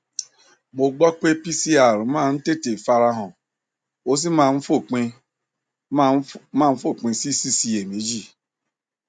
mo gbọ pé pcr máa ń tètè fara han ó sì máa ń fòpin máa ń fòpin sí síṣiyèméjì